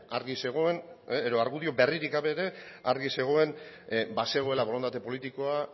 argi zegoen edo argudio berririk gabe ere argi zegoen bazegoela borondate politikoa